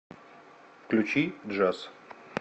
включи джаз